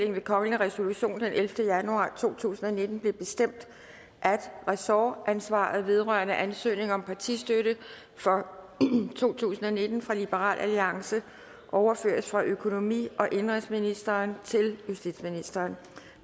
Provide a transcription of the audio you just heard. det ved kongelig resolution den ellevte januar to tusind og nitten blevet bestemt at ressortansvaret vedrørende ansøgning om partistøtte for to tusind og nitten fra liberal alliance overføres fra økonomi og indenrigsministeren til justitsministeren